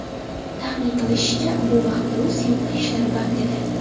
Taxmin qilinishicha, bu vaqtda u syomka ishlari band edi.